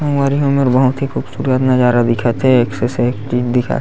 संगवारी हो एमर बहुत ही खूबसूरत नज़ारा दिखत हे एक से एक चीज दिखत--